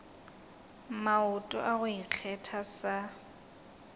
maoto a go ikgetha sa